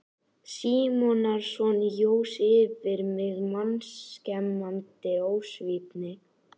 Símonarson jós yfir mig mannskemmandi ósvífni.